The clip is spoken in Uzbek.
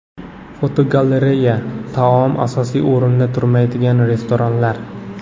Fotogalereya: Taom asosiy o‘rinda turmaydigan restoranlar.